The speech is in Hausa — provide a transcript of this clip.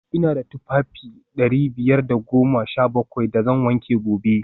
v Ina da tufafi dari biyar da goma sha bakwai da zan wanke gobe